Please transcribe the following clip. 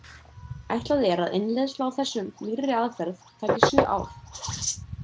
Ætlað er að innleiðsla á þessum nýrri aðferð taki sjö ár.